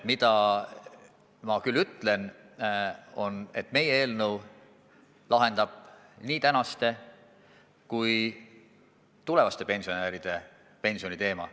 Mida ma küll ütlen, on see, et meie eelnõu lahendab nii tänaste kui ka tulevaste pensionäride pensioniteema.